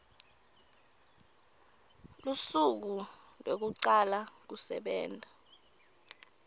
lusuku lwekucala kusebenta